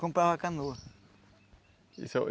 Comprava canoa. E seu